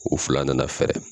U fila nana fɛɛrɛ0